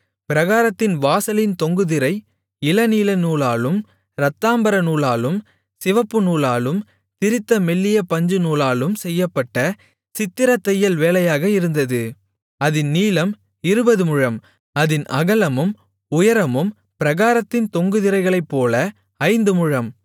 பிராகாரத்தின் வாசலின் தொங்கு திரை இளநீலநூலாலும் இரத்தாம்பரநூலாலும் சிவப்புநூலாலும் திரித்த மெல்லிய பஞ்சுநூலாலும் செய்யப்பட்ட சித்திரத்தையல் வேலையாக இருந்தது அதின் நீளம் இருபது முழம் அதின் அகலமும் உயரமும் பிராகாரத்தின் தொங்கு திரைகளைப்போல ஐந்து முழம்